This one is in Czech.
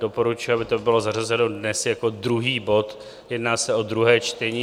Doporučuji, aby to bylo zařazeno dnes jako druhý bod, jedná se o druhé čtení.